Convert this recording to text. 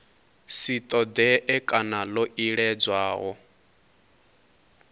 si ṱoḓee kana ḽo iledzwaho